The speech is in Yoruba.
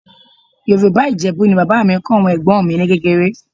Yorùbá Ìjẹ̀bú ni bàbá mi kọ́ àwọn ẹ̀gbọ́n mi ní kékeré